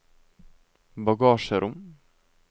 bagasjerom